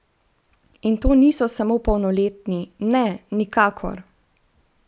In to niso samo polnoletni, ne, nikakor!